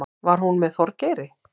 Var hún með Þorgeiri?